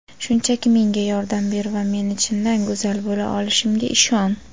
Shunchaki menga yordam ber va meni chindan go‘zal bo‘la olishimga ishon.